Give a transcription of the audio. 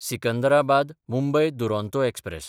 Secunderabad-Mumbai Duronto express